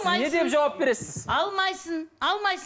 сіз не деп жауап бересіз алмайсың